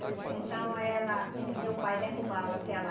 Pois é, então ela, meu pai derrubava aquela